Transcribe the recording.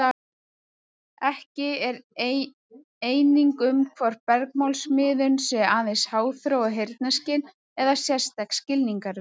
Ekki er eining um hvort bergmálsmiðun sé aðeins háþróað heyrnarskyn eða sérstakt skilningarvit.